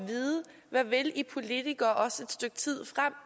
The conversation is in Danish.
vide hvad i politikere vil også et stykke tid frem